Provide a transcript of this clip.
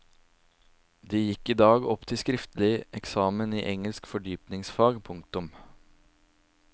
De gikk i dag opp til skriftlig eksamen i engelsk fordypningsfag. punktum